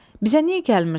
Bizə niyə gəlmirsən?